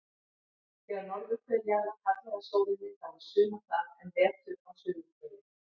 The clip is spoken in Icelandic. Þegar norðurhvel jarðar hallar að sólinni þá er sumar þar en vetur á suðurhveli.